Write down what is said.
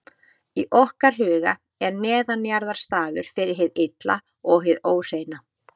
Í okkar huga er neðanjarðar staður fyrir hið illa og hið óhreina.